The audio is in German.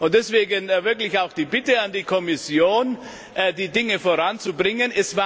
Deswegen wirklich auch die Bitte an die Kommission, die Dinge voranzubringen.